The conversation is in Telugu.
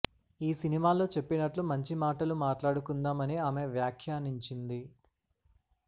ఈ సినిమాలో చెప్పినట్లు మంచి మాటలు మాట్లాడుకుందాం అని ఆమె వ్యాఖ్యానించింది